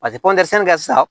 Paseke kɛ sisan